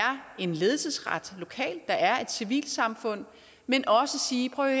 en ledelsesret lokalt der er et civilsamfund men også sige prøv at